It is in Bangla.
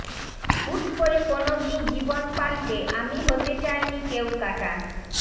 হুট করে কোনোদিন জীবন পাল্টে আমি হতে চাইনি কেউকাটা